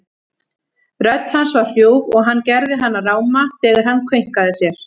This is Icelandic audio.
Rödd hans var hrjúf og hann gerði hana ráma þegar hann kveinkaði sér.